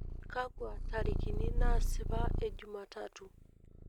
kakwa ntarikini nasipa ejumatatu